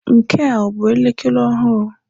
Nke a ọ bụ elekere ọhụrụ?